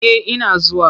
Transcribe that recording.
Eh ina zuwa.